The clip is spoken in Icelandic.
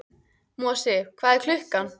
Mosi, hvað er klukkan?